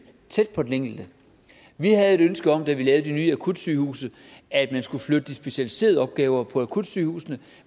tæt på den enkelte vi havde et ønske om da vi lavede de nye akutsygehuse at man skulle flytte de specialiserede opgaver på akutsygehusene